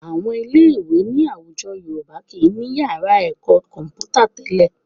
Àwọn ilé-ìwé ní àwùjọ Yorùbá kì í ní yàrá ẹ̀kọ́ kọ̀m̀pútà tẹ́lẹ̀